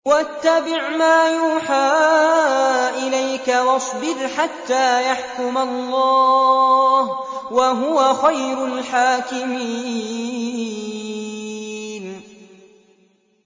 وَاتَّبِعْ مَا يُوحَىٰ إِلَيْكَ وَاصْبِرْ حَتَّىٰ يَحْكُمَ اللَّهُ ۚ وَهُوَ خَيْرُ الْحَاكِمِينَ